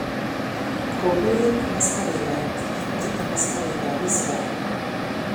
Kopiren ak askarik ap Egypt ak askarik ap Israel